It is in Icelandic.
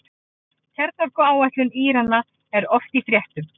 Kjarnorkuáætlun Írana er oft í fréttum.